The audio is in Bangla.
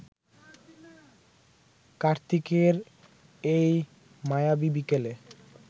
কার্তিকের এই মায়াবী বিকেলে